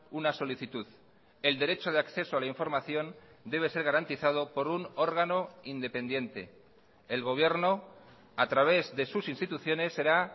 una solicitud el derecho de acceso a la información debe ser garantizado por un órgano independiente el gobierno a través de sus instituciones será